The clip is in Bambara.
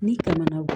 Ni tɛmɛna wo